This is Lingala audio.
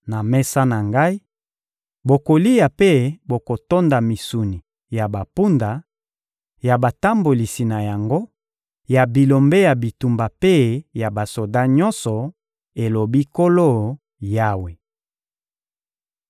Na mesa na Ngai, bokolia mpe bokotonda misuni ya bampunda, ya batambolisi na yango, ya bilombe ya bitumba mpe ya basoda nyonso,› elobi Nkolo Yawe.